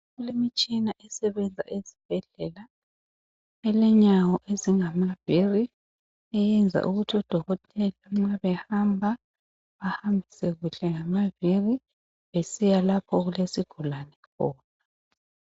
Kulemitshina esebenza ezibhedlela elenyawo ezingamavili eyenza ukuthi odokotela nxa behamba bahambise kuhle ngamavili besiya lapho okulesigulane khona.